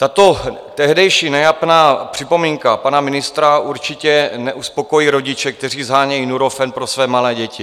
Tato tehdejší nejapná připomínka pana ministra určitě neuspokojí rodiče, kteří shánějí Nurofen pro své malé děti.